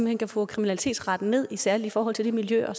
hen kan få kriminalitetsraten ned særlig i forhold til de miljøer